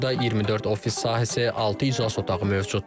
Burda 24 ofis sahəsi, altı iclas otağı mövcuddur.